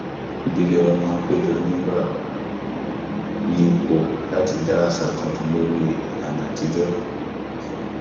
ìdílé wa máa ń péjọ nígbà oòrùn yípo láti dá àṣà tuntun lórí ìlànà àtijọ